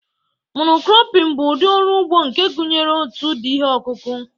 Mono-cropping bụ ụdị ọrụ ugbo nke gụnyere otu ụdị ihe ọkụkụ